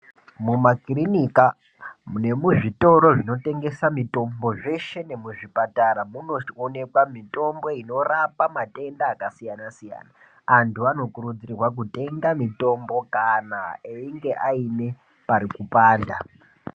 Mumakirinika nemuzvitoro zvinotengesa mitombo zveshe nemuzvipatara munoonekwa mitombo inorapa matenda akasiyana-siyana. Antu anokurudzirwa kutenga mitombo kana einga aine pari kupanda.